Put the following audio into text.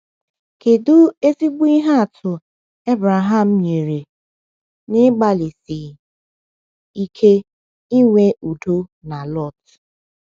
Kedu ezigbo ihe atụ Abraham nyere n’ịgbalịsi ike inwe udo na Lot?